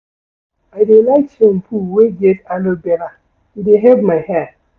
I dey like shampoo wey get aloe vera, e dey help my hair.